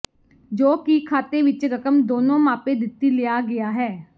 ਜੋ ਕਿ ਖਾਤੇ ਵਿੱਚ ਰਕਮ ਦੋਨੋ ਮਾਪੇ ਦਿੱਤੀ ਲਿਆ ਗਿਆ ਹੈ